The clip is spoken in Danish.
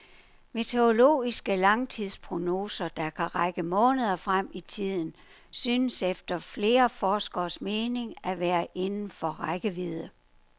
Meteorologiske langtidsprognoser, der kan række måneder frem i tiden, synes efter flere forskeres mening at være inden for rækkevidde.